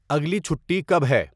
اگلی چھٹی کب ہے